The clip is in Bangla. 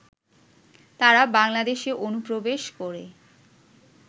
তারা বাংলাদেশে অনুপ্রবেশ করে